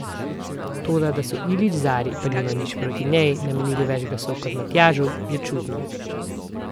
Toda, da so Ilić Zari, pa nimam nič proti njej, namenili več glasov kot Matjažu, je čudno.